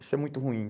Isso é muito ruim.